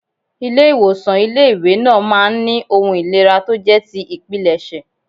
Ilé ìwòsàn ilé ìwé náà máa ń ní ohun ìlera tó jẹ́ ti ìpilẹ̀ṣẹ̀.